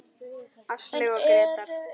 Áslaug og Grétar.